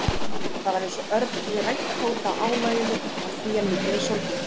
Það var eins og Örn hefði rænt Tóta ánægjunni af því að liggja í sólbaði.